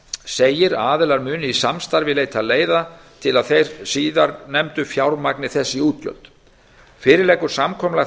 segir að aðilar muni í samstarfi leita leiða til að þeir síðarnefndu fjármagni þessi útgjöld fyrir liggur samkomulag